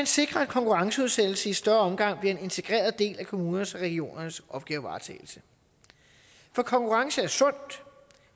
sikret at konkurrenceudsættelse i større omfang bliver en integreret del af kommunernes og regionernes opgavevaretagelse for konkurrence er sundt